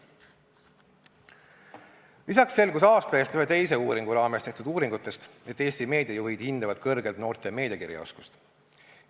Lisaks selgus aasta eest ühe teise uuringu raames, et Eesti meediajuhid hindavad kõrgelt noorte meediakirjaoskust.